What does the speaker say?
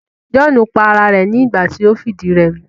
John pa ara rẹ̀ nígbà ti o fìdírẹmi